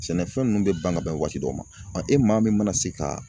Sɛnɛfɛn ninnu bɛ ban ka bɛn waati dɔ ma e maa min mana se ka